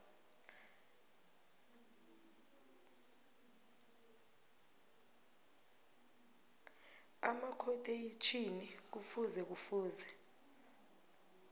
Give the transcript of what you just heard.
amakhotheyitjhini kufuze kufuze